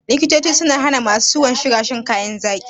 Likitoci sun hana ma su ciwon suga shan zaƙi.